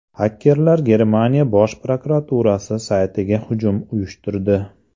Xakerlar Germaniya bosh prokuraturasi saytiga hujum uyushtirdi.